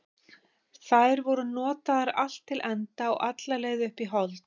Þær voru notaðar allt til enda og alla leið upp í hold.